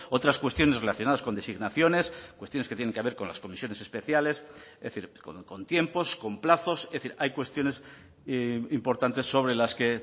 otras cuestiones relacionadas con designaciones cuestiones que tienen que ver con las comisiones especiales es decir con tiempos con plazos es decir hay cuestiones importantes sobre las que